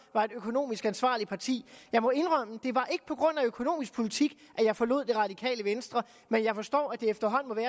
var et økonomisk ansvarligt parti jeg må indrømme at af økonomisk politik jeg forlod det radikale venstre men jeg forstår at det efterhånden